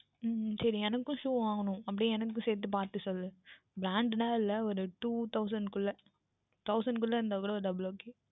உம் சரி எனக்கும் Shoe வாங்கவேண்டும் அப்படியே எனக்கும் சேர்த்து பார்த்து சொல் Branded யில் இல்லை ஓர் Two Thousand குள்ளே Thousand குள்ளே இருந்தாலும் Double OK